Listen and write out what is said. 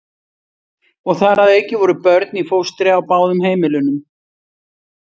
Og þar að auki voru börn í fóstri á báðum heimilunum.